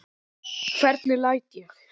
Hvernig læt ég.